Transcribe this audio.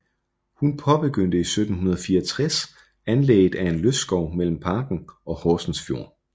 Hun påbegyndte i 1764 anlægget af en lystskov mellem parken og Horsens Fjord